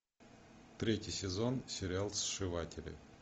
третий сезон сериал сшиватели